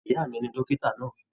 Ìyá mí ní dókítà náà.